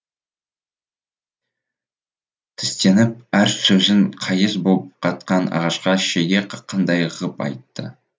тістеніп әр сөзін қайыс боп қатқан ағашқа шеге қаққандай ғып айтты